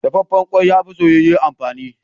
Dafaffen ƙwai, ya fi soyayye amfani.